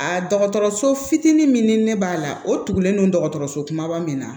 Aa dɔgɔtɔrɔso fitinin min ni ne b'a la o tugulen don dɔgɔtɔrɔso kumaba min na